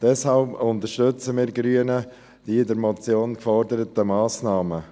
Deshalb unterstützen wir Grünen die in der Motion geforderten Massnahmen.